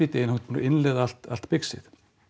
innleiða allt allt bixið